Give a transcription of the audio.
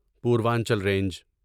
Purvanchal range